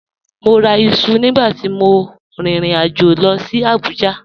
Mọ́ rà ìṣu nígbà tí mọ̀ ríin ìrìn-àjọ̀ lọ sí Abuja